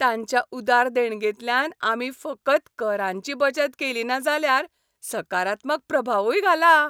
तांच्या उदार देणगेंतल्यान आमी फकत करांची बचत केलीना जाल्यार सकारात्मक प्रभावूय घाला!